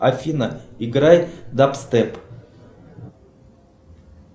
афина играй дабстеп